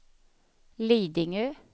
Lidingö